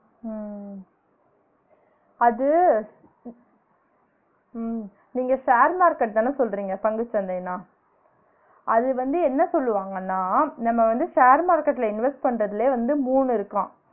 உம் உம் உம் அது உம் நீங்க share market தான சொல்றீங்க பங்குசந்தைனா அது வந்து என்ன சொல்வாங்கனா நம்ம வந்து share market ல invest பண்றதிலேயே வந்து மூணு இருக்காம்